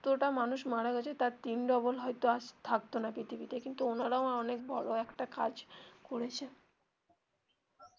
যত টা মানুষ মারা গেছে তার তিন double হয় তো আজ থাকতো না পৃথিবীতে কিন্তু ওনারা অনেক বড়ো একটা কাজ করেছেন হ্যা সেটাই একদম আপনি সেই কথাটা ঠিক বলেছেন.